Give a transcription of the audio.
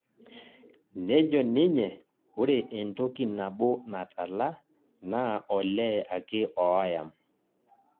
Nejo ninje ore entoki nabo natala naa olee ake ooyam